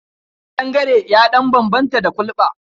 Ƙandangare ya ɗan bambanta da kulɓa.